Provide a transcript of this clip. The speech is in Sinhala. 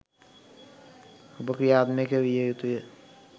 ඔබ ක්‍රියාත්මක විය යුතුය.